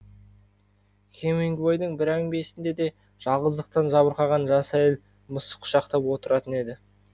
хемингуейдің бір әңгімесінде де жалғыздықтан жабырқаған жас әйел мысық құшақтап отыратын еді